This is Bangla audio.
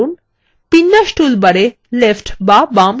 বিন্যাস toolbar এ left বা বাম click করুন